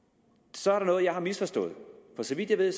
så er der noget jeg har misforstået for så vidt jeg ved